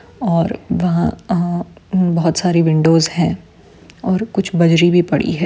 और वहाँ अ बहुत सारी विंडोज़ हैं और कुछ बजरी भी पड़ी है।